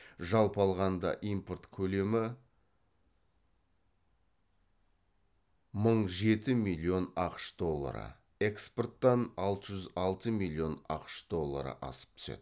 жалпы алғанда импорт көлемі мың жеті миллион ақш доллары экспорттан алты жүз алты миллион ақш доллары асып түседі